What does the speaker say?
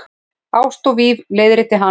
Ást og víf- leiðrétti hann.